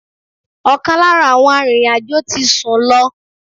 Ọkan lára àwọn arìnrìn-àjò tí sun lọ.